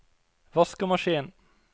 vaskemaskin